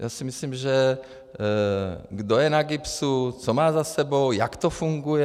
Já si myslím, že kdo je na GIBS, co má za sebou, jak to funguje...